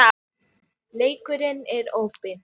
Oft stangast sögurnar á.